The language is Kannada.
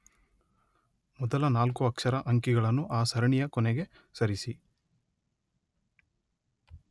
ಮೊದಲ ನಾಲ್ಕು ಅಕ್ಷರ, ಅಂಕಿಗಳನ್ನು ಆ ಸರಣಿಯ ಕೊನೆಗೆ ಸರಿಸಿ.